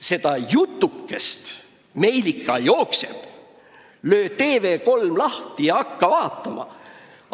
Meil ikka jookseb seda jutukest: löö TV3 lahti ja hakka vaatama!